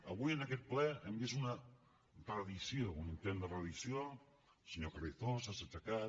avui en aquest ple hem vist una reedició un intent de reedició el senyor carrizosa s’ha aixecat